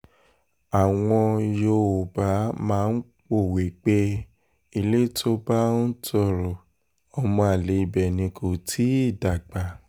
àwọn yòówbà máa ń pòwe pé ilé tó bá ń tọrọ ọmọ àlè ibẹ̀ ni kò tì í dàgbà